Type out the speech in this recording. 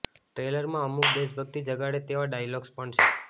ટ્રેલરમાં અમુક દેશભક્તિ જગાડે તેવા ડાયલોગ્સ પણ છે